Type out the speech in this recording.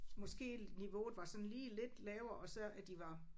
Måske niveauet var sådan lige lidt lavere og så at de var